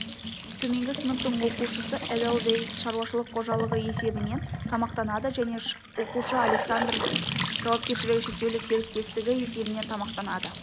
төменгі сыныптың оқушысы эдельвейс шаруашылық қожалығы есебінен тамақтанады және оқушы александров жауапкершілігі шектеулі серіктестігі есебінен тамақтанады